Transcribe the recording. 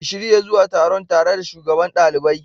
Ka shirya zuwa taron tare da Shugaban ɗaliban.